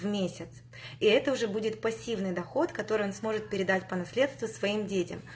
в месяц и это уже будет пассивный доход который он сможет передать по наследству своим детям